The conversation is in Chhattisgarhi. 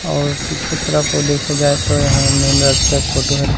और पीछू तरफ देखा जाए तो एहा मैन राश्ता के फोटो हरे।